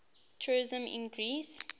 tourism in greece